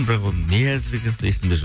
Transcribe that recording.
бірақ оны не әзілдеген есімде жоқ